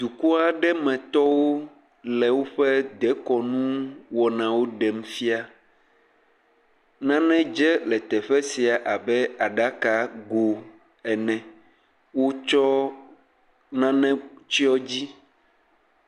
Dukɔ aɖe metɔwo le woƒe dekɔnu wɔnawo ɖem fia. Nane dze le teƒe sia abe aɖaka go ene, wotsɔ nane tsiɔ dzi.